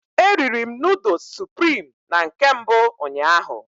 E riri'm noodles supirim na nke mbụ ụnyaahụ